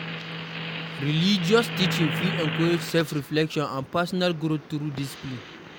Religious teaching fit encourage self reflection and personal growth through discpline